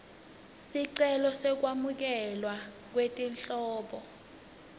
sicelo sekwamukelwa kwetinhlobo